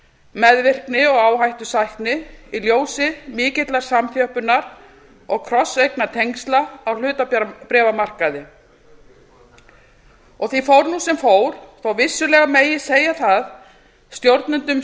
meðvirkni og áhættusækni í ljósi mikillar samþjöppunar og krosseignatengsla á hlutabréfamarkaði því fór sem fór þótt vissulega megi segja það stjórnendum